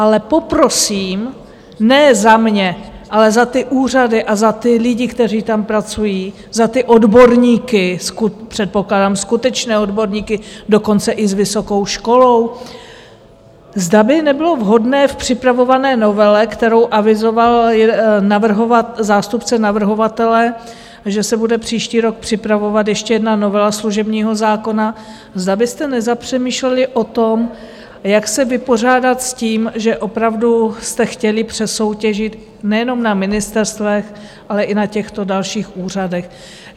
Ale poprosím, ne za mě, ale za ty úřady a za ty lidi, kteří tam pracují, za ty odborníky, předpokládám skutečné odborníky, dokonce i s vysokou školou, zda by nebylo vhodné v připravované novele, kterou avizoval zástupce navrhovatele, že se bude příští rok připravovat ještě jedna novela služebního zákona, zda byste nezapřemýšleli o tom, jak se vypořádat s tím, že opravdu jste chtěli přesoutěžit nejenom na ministerstvech, ale i na těchto dalších úřadech.